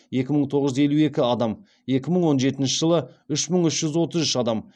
екі мың тоғыз жүз елу екі адам екі мың он жетінші жылы үш мың үш жүз отыз үш адам